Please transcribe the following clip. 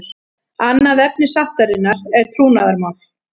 Annað efni sáttarinnar er trúnaðarmál